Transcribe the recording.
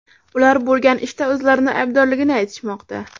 Ular bo‘lgan ishda o‘zlarini aybdorligini aytishmoqda.